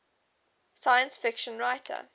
science fiction writer